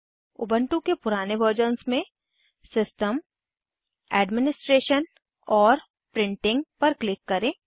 Ubuntu के पुराने versions में सिस्टम सिस्टम एडमिनिस्ट्रेशन एडमिनिस्ट्रेशन और प्रिंटिंग प्रिंटिंग पर क्लिक करें